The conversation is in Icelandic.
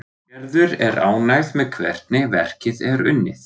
Gerður er ánægð með hvernig verkið er unnið.